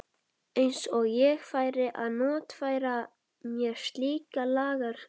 Eins og ég færi að notfæra mér slíka lagakróka.